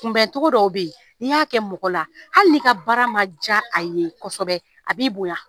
Kunbɛncogo dɔw bɛ yen n'i y'a kɛ mɔgɔ la hali n'i ka baara ma diya a ye kosɛbɛ a b'i bonya